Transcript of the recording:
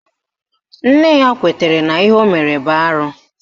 Nne ya kwetara n'ihe o mere bụ arụ